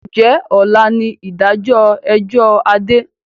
Ǹjẹ́ ọ̀la ni ìdájọ́ ẹjọ́ Adé?